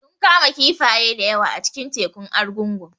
Sun kama kifaye da yawa a cikin tekun Argungu